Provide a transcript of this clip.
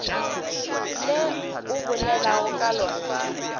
le o bolelago ka lona